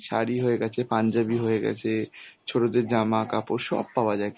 শাড়ি হয়ে গেছে পাঞ্জাবি হয়ে গেছে, ছোটদের জামা কাপড় সব পাওয়া যায় কিন~